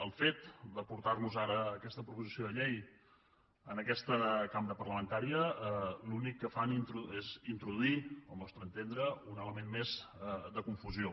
el fet de portar nos ara aquesta proposició de llei a aquesta cambra parlamentària l’únic que fa és introduir al nostre entendre un element més de confusió